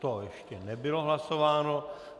To ještě nebylo hlasováno.